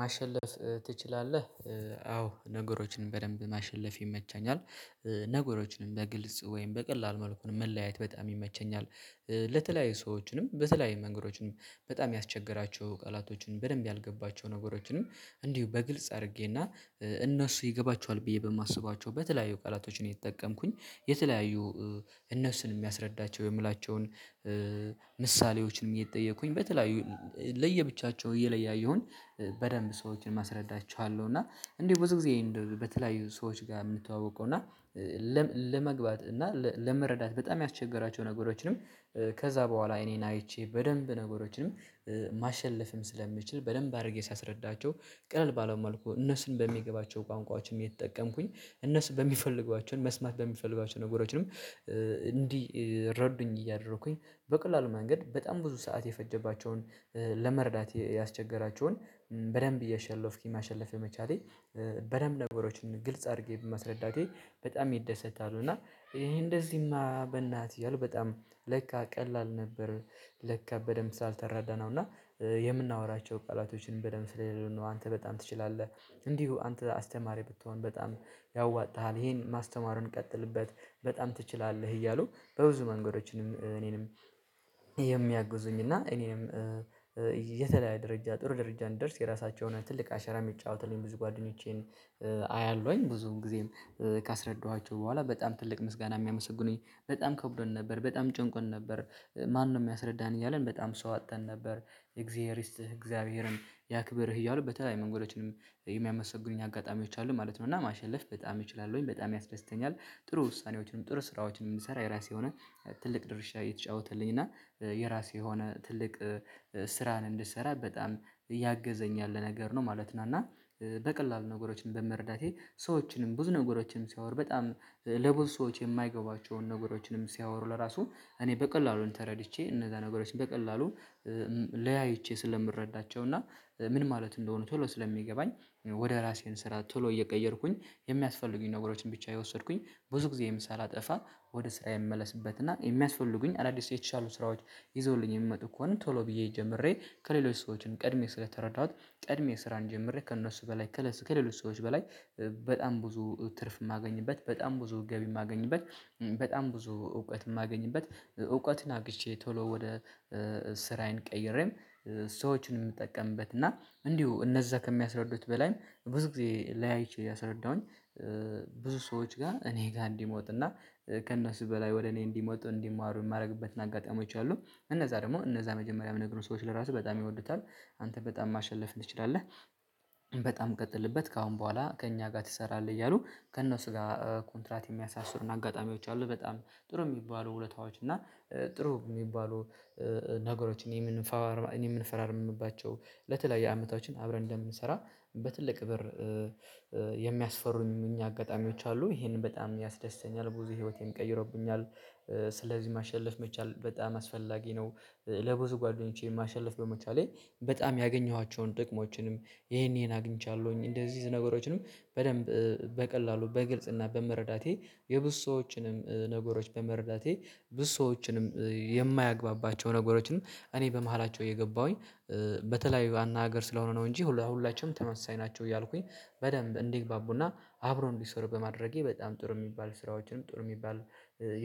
ማሸለፍ ትችላለህ አዎ ነገሮችን በደንብ ማሸለፍ ይመቻኛል። ነገሮችንም በግልጽ ወይም በቀላል መልኩን መለያየት በጣም ይመቸኛል። ለተለያዩ ሰዎችንም በተለያዩ መንገዶችን በጣም ያስቸገሯቸውን ቃላቶችን በደንብ ያልገባቸው ነገሮችንም እንዲሁ በግልጽ አድርጌና እነሱ ይገባቸዋል ብዬ በማስባቸው በተለያዩ ቃላቶችን እየተጠቀምኩኝ የተለያዩ እነሱን የሚያስረዳቸው የምላቸውን ምሳሌዎችን እጠየኩኝ በተለያዩ ለየብቻቸው እየለያየሁኝ በደንብ ሰዎችን ማስረዳ እችላለሁ። እና እኔ ብዙ ጊዜ በተለያዩ ሰዎች ጋር የምንተዋወቀው እና ለመግባት እና ለመረዳት በጣም ያስቸገራቸው ነገሮችን ከዛ በኋላ እኔን አይቼ በደንብ ነገሮችንም ማሸለፍም ስለምችል በደንብ አድርጌ ሳስረዳቸው ቀለል ባለው መልኩ እነሱን በሚገባቸው በቋንቋዎችም የተጠቀምኩኝ እነሱ በሚፈልጓቸውን መስማት በሚፈልጓቸው ነገሮችን እንዲረዱኝ እያደረኩኝ በቀላሉ መንገድ በጣም ብዙ ሰዓት የፈጀባቸውን ለመረዳት ያስቸገራቸውን በደንብ እያሸለፍኩ ማሸለፍ የመቻሌ በደንብ ነገሮችን ግልጽ አድርጌ በማስረዳቴ በጣም ይደሰታሉ። እና ይሄ እንደዚህማ በላህ ትይያለህ በጣም ለካ ቀላል ነበር። ለካ በደንብ ስላልተረዳነው እና የምናወራቸው ቃላቶችን በደንብ ስለሌሉ ነው አንተ በጣም ትችላለህ። እንዲሁ አንተ አስተማሪ ብትሆን በጣም ያዋጣሃል ይሄን ማስተማሩን ቀጥልበት በጣም ትችላለህ። እያሉ በብዙ መንገዶችን እኔንም የሚያግዙኝና እኔንም የተለያየ ደረጃ ጥሩ ደረጃ እንድደርስ የራሳቸውን ትልቅ አሸራ የሚጫወቱልኝ ብዙ ጓደኞቼን አያለሁኝ ብዙም ጊዜም ካስረዳኋቸው በኋላ በጣም ትልቅ ምስጋና የሚያመሰግኑኝ በጣም ከብዶን ነበር በጣም ተጨንቀን ነበር። ማነው የሚያስረዳን እያልን በጣም ሰው አጥተን ነበር? የእግዚአብሔር እስት እግዚአብሔር ያክብርህ እያሉ በተለይ መንገዶችንም የሚያመሰግኑኝ አጋጣሚዎች አሉ ማለት ነው። እና ማሸለፍ በጣም እችላለው ወይም በጣም ያስደስተኛል። ጥሩ ውሳኔዎችንም ጥሩ ስራዎችንም የምሰራ የራሴ የሆነ ትልቅ ድርሻ እየተጫወተልኝ እና የራሴ የሆነ ትልቅ ስራን እንድሰራ በጣም እያገዘኝ ያለ ነገር ነው ማለት ነው። እና በቀላሉ ነገሮችን በመረዳቴ ሰዎችንም ብዙ ነገሮችንም ሲያወር በጣም ለብዙ ሰዎች የማይገባቸውን ነገሮች ሲያወሩ ለራሱ እኔ በቀላሉን ተረድቼ እነዛ ነገሮች በቀላሉ ለያይቼ ስለምረዳቸው እና ምን ማለት እንደሆኑ ቶሎ ስለሚገባኝ ወደ ራሴን ስራ ቶሎ እየቀየርኩኝ የሚያስፈልጉኝ ነገሮችን ብቻእ የወሰድኩኝ ብዙ ጊዜ ሳላጠፋ ወደ ስራ የምመለስበትና የሚያስፈልጉኝ አዳዲስ የተሻሉ ስራዎች ይዘውልኝ የሚመጡ እኮ ነው። ቶሎ ብዬ ጀምሬ ከሌሎች ሰዎችን ቀድሜ ስለተረዳሁት ቀድሜ ስራ እንድጀምር ከእነሱ በላይ ከለስ ከሌሎች ሰዎች በላይ በጣም ብዙ ትርፍ የማገኝበት በጣም ብዙ ገቢ የማገኝበት። በጣም ብዙ እውቀት የማገኝበት እውቀትን አግቼ ቶሎ ወደ ስራዬን ቀይሬም ሰዎችን የምጠቀምበት እና እንዲሁ እነዛ ከሚያስረዱት በላይም ብዙ ጊዜ ላይ አይቼ ያስረዳሁኝ ብዙ ሰዎች ጋር እኔ ጋር እንዲመጡ እና ከእነሱ በላይ ወደ እኔ እንዲመጡ እንዲማሩ የማደርግበት አጋጣሚዎች አሉ። እነዛ ደግሞ እነዛ መጀመሪያ የሚነግሩኝ ሰዎች ለራሱ በጣም ይወዱታል። አንተ በጣም ማሸለፍ ትችላለህ በጣም ቀጥልበት ከአሁን በኋላ ከእኛ ጋር ትሰራለህ። እያሉ ከእነሱ ጋር ኮንትራት የሚያሳስሩን አጋጣሚዎች አሉ በጣም ጥሩ የሚባሉ ውለታዎች እና ጥሩ የሚባሉ ነገሮችን የምንፈራረምባቸው የምንፈራረምባቸው ለተለያየ አመታችን አብረን እንደምንሰራ በትልቅ ብር የሚያሰሩኝ አጋጣሚዎች አሉ። ይሄንን በጣም ያስደስተኛል ብዙ ህይወቴን ቀይሮብኛል ስለዚህ ማሸለፍ መቻል በጣም አስፈላጊ ነው። ለብዙ ጓደኞቼን ማሸለፍ በመቻሌ በጣም ያገኘኋቸውን ጥቅሞችንም ይሄን ይሄን አግኝቻለሁኝ እንደዚህ ነገሮችንም በደንብ በቀላሉ በግልጽና በመረዳቴ የብዙ ሰዎችንም ነገሮች በመረዳቴ ብዙ ሰዎችንም የማያግባባቸው ነገሮችንም እኔ በመሃላቸው እየገባሁኝ በተለይ ዋና ሀገር ስለሆነ ነው እንጂ ሁላችንም ተመሳይ ናቸው እያልኩኝ በደንብ እንዲግባቡና አብሮ እንዲሰሩ በማድረጌ በጣም ጥሩ የሚባል ስራዎችንም ጥሩ የሚባል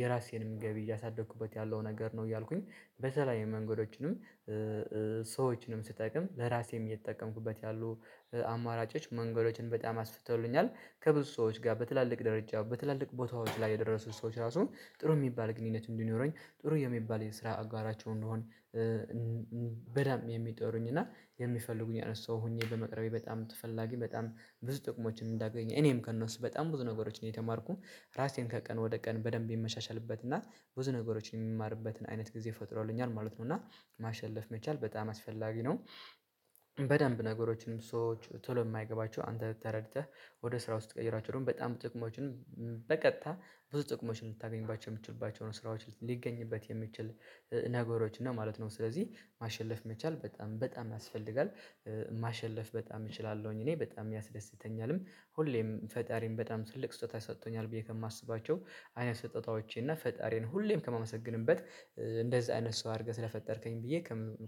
የራሴንም ገቢ እያሳደኩበት ያለው ነገር ነው። እያልኩኝ በተለያየ መንገዶችንም ስትጠቀም ለራሴም እየተጠቀምኩበት ያሉ አማራጮች መንገዶችን በጣም አስፍተውልኛል። ከብዙ ሰዎች ጋር በትላልቅ ደረጃ በትላልቅ ቦታዎች ላይ የደረሱት ሰዎች ራሱ ጥሩ የሚባል ግንኙነት እንዲኖረኝ ጥሩ የሚባል የስራ አጋራቸው እንድሆን በደንብ የሚጠሩኝ እና የሚፈልጉኝ እያነሳሁኝ ሆኜ በመቅረቤ በጣም ተፈላጊ በጣም ብዙ ጥቅሞችን እንዳገኝ እኔም ከእነሱ በጣም ብዙ ነገሮች ነው የተማርኩኝ። ራሴን ከቀን ወደ ቀን በደንብ የምሻሻልበት እና ብዙ ነገሮችን የምማርበትን አይነት ጊዜ ፈጥሮልኛል ማለት ነው። እና ማሸለፍ መቻል በጣም አስፈላጊ ነው። በደንብ ነገሮችንም ሰዎች ቶሎ የማይገባቸው አንተ ተረድተህ ወደ ስራ ውስጥ ቀይራቸው ደግሞ በጣም ጥቅሞችን በቀጥታ ብዙ ጥቅሞችን ልታገኝባቸው የምትችልባቸው ስራዎች ሊገኝበት የሚችል ነገሮች እና ማለት ነው። ስለዚህ ማሸለፍ መቻል በጣም በጣም ያስፈልጋል። ማሸለፍ በጣም እችላለሁኝ እኔ በጣም ያስደስተኛልም ሁሌም ፈጣሪን በጣም ትልቅ ስጦታ ሰጥቶኛል ብዬ ከማስባቸው አይነ ስጦታዎቼ እና ፈጣሪን ሁሌም ከማመሰግንበት እንደዚህ አይነት ሰው አድርገህ ስለፈጠርከኝ ብዬ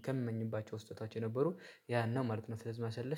ከምመኝባቸው ስህተታቸው የነበሩ ያን ማለት ነው። ስለዚህ መሰለሽ